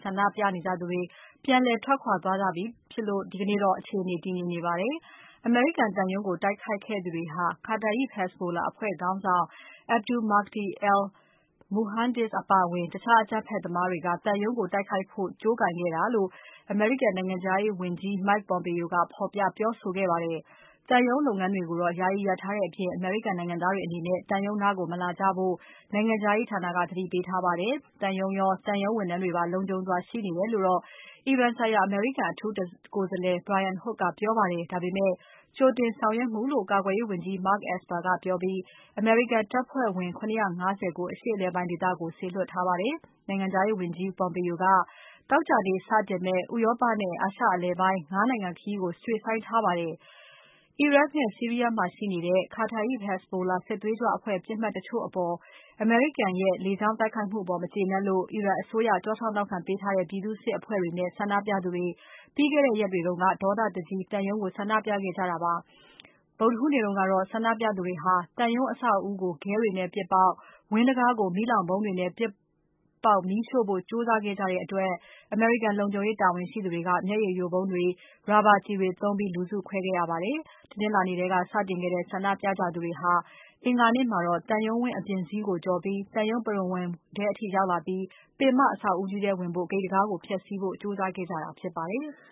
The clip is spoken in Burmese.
ဆန္ဒပြနေကြသူတွေ ပြန်လည်ထွက်ခွာသွားခဲ့ကြတဲ့အတွက် ဒီကနေ့တော့ အခြေအနေ တည်ငြိမ်နေပါတယ်။ အမေရိကန်သံရုံးကို တိုက်ခိုက်ခဲ့သူတွေဟာ Kataeb Hezbollah အဖွဲ့ခေါင်းဆောင် Abu Mahdi al Muhandis အပါအဝင် တခြားအကြမ်းဖက်သမားတွေက သံရုံးကို တိုက်ခိုက်ခဲ့တာလို့ အမေရိကန်နိုင်ငံခြားရေးဝန်ကြီး Mike Pompeo က ဖော်ပြပြောဆိုခဲ့ပါတယ်။ သံရုံးလုပ်ငန်းတွေကိုတော့ ယာယီရပ်ထားတဲ့အပြင် အမေရိကန်နိုင်ငံသားတွေအနေနဲ့ သံရုံးနားကို မလာကြဖို့ နိုင်ငံခြားရေးဌာနက သတိပေးထားပါတယ်။ သံရုံးရော သံရုံးဝန်ထမ်းတွေပါ လုံခြုံစွာ ရှိနေတယ်လို့တော့ အီရန်ဆိုင်ရာ အမေရိကန်အထူးကိုယ် Brian Hook က ပြောပါတယ်။ ဒါပေမဲ့ ကြိုတင်ဆောင်ရွက်မှုလို့ ကာကွယ်ရေးဝန်ကြီး Mark Esper ကပြောပြီး အမေရိကန်တပ်ဖွဲ့ဝင် ၇၅၀ ကို အရှေ့အလယ်ပိုင်းဒေသကို စေလွှတ်ထားပါတယ်။ နိုင်ငံခြားရေးဝန်ကြီး Pompeo က သောကြာနေ့ စတင်မယ့် ဥရောပနဲ့ အာရှအလယ်ပိုင်း ၅ နိုင်ငံ ခရီးကို ရွှေ့ဆိုင်းခဲ့ပါတယ်။ အီရတ်နဲ့ဆီးရီးယားမှာရှိနေတဲ့ Kataeb Hezbollah စစ်သွေးကြွအဖွဲ့ ပစ်မှတ်တချို့အပေါ် အမေရိကန်ရဲ့ လေကြောင်းတိုက်ခိုက်မှုအပေါ် မကျေနပ်လို့ အီရန်အစိုးရ ကျောထောက်နောက်ခံ ပေးထားတဲ့ ပြည်သူစစ်အဖွဲ့တွေနဲ့ ဆန္ဒပြသူတွေ ပြီးခဲ့တဲ့ရက်တွေက သံရုံးကို ဝင်စီးဖို့ ကြိုးစားခဲ့ကြတာပါ။ ဗုဒ္ဓဟူးနေ့တုန်းကတော့ ဆန္ဒပြသူတွေဟာ သံရုံးအဆောက်အဦးကို ခဲတွေနဲ့ ပစ်ပေါက် ဝန်းတံခါးကို မီးလောင်ဗုံးတွေနဲ့ ပစ်ပေါက်မီးရှို့ဖို့ကြိုးစားခဲ့ကြတဲ့အတွက် အမေရိကန်လုံခြုံရေး တာဝန်ရှိသူတွေက မျက်ရည်ယိုဗုံးတွေ၊ ရာဘာကျည်တွေသုံး လူစုခွဲခဲ့ရပါတယ်။ တနင်္လာနေ့ထဲက စတင် ဆန္ဒပြနေကြသူတွေဟာ အင်္ဂါနေ့မှာ သံရုံးဝန်း အပြင်စည်းကို ကျော်ပြီး သံရုံးပရဝဏ်ထဲအထိ ရောက်လာပြီး ပင်မ အဆောက်အဦးကြီးထဲဝင်တဲ့ ဂိတ်တံခါးကို ဖျက်စီးဖို့ ကြိုးစားခဲ့ကြတာ ဖြစ်ပါတယ်။